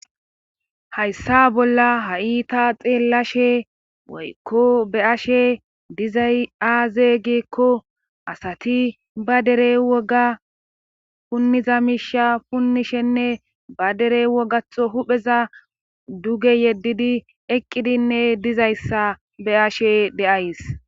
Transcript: haysa bolla ha7i ta xeelashe woyko be7ashe dizay aaze gikko asati ba dere woga puniza miisha punnishenne ba dere wogatto hupheza duge yeddidi eqqidinne dizayssa be7ashe de7ays.